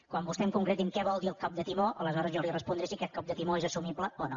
quan vostè em concreti què vol dir el cop de timó aleshores jo li respondré si aquest cop de timó és assumible o no